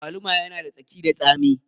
Agwaluma yana da tsaki da tsami